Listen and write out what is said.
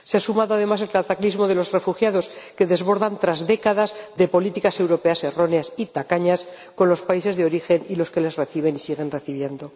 Se ha sumado además el cataclismo de los refugiados que desbordan tras décadas de políticas europeas erróneas y tacañas con los países de origen y los que les reciben y siguen recibiendo.